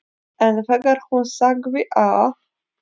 En þegar hún sagði að